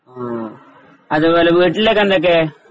ആ അതുപോലെ വീട്ടിലൊക്കെ എന്തുണ്ട്